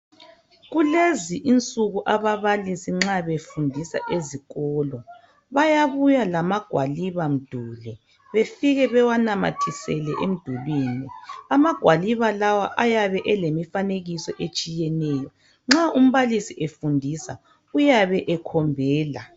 Kulezi insuku ababalisi nxa befundisa ezikolo bayabuya lamagwaliba mduli, befike bewanamathisele emdulwini. Amagwaliba lawa ayabe elemifanekiso etshiyeneyo, nxa umbalisi efundisa uyabe ekhombela.